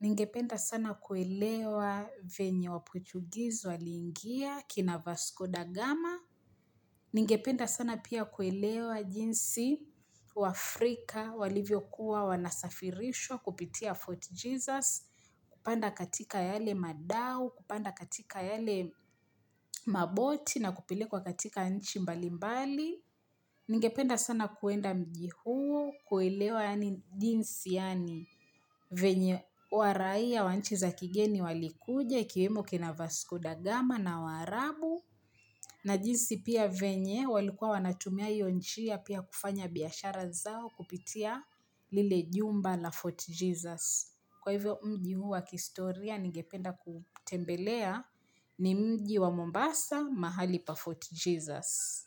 Ningependa sana kuelewa venye wa Portuguese waliingia, kina Vasco da Gama. Ningependa sana pia kuelewa jinsi wa Afrika walivyo kuwa wana safirishwa kupitia Fort Jesus. Kupanda katika yale madao, kupanda katika yale maboti na kupelekwa katika nchi mbali mbali. Ningependa sana kuenda mji huo, kuelewa yani jinsi yani venye waraia ya wanchi za kigeni walikuja, ikiwemo kina Vasco Da gama na wa arabu na jinsi pia venye walikuwa wanatumia hiyo njia pia kufanya biyashara zao kupitia lile jumba la Fort Jesus. Kwa hivyo mji huwa kistoria ningependa kutembelea ni mji wa Mombasa mahali pa Fort Jesus.